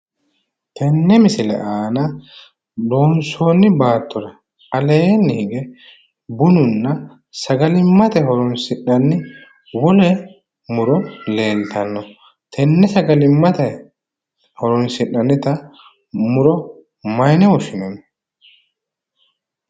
Tenne baattora aleenni higge bununna sagalimmate horonsi'nanni wole muro leeltanno tenne sagalimmate horonsi'nannita muro mayine woshshinanni?